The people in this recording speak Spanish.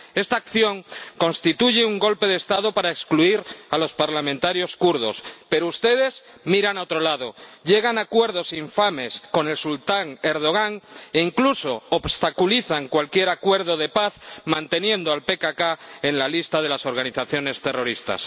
Esta acción constituye un golpe de Estado para excluir a los parlamentarios kurdos, pero ustedes miran a otro lado, llegan a acuerdos infames con el sultán Erdogan e incluso obstaculizan cualquier acuerdo de paz manteniendo el PKK en la lista de las organizaciones terroristas.